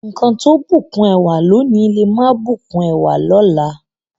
Nkan tó bùkún ẹwà lónìí, le máa bùkún ẹwà lọ́la.